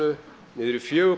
niður í fjögur